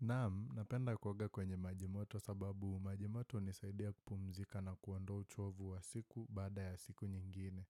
Naamu, napenda kuoga kwenye majimoto sababu majimoto unisaidia kupumzika na kuondoa uchovu wa siku baada ya siku nyingine.